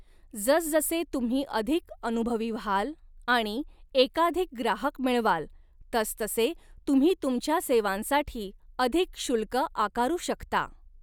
जसजसे तुम्ही अधिक अनुभवी व्हाल आणि एकाधिक ग्राहक मिळवाल, तसतसे तुम्ही तुमच्या सेवांसाठी अधिक शुल्क आकारू शकता.